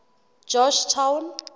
georgetown